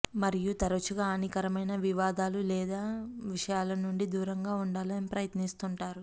మరియు తరచుగా హానికరమైన వివాదాలు లేదా విషయాల నుండి దూరంగా ఉండాలని ప్రయత్నిస్తుంటారు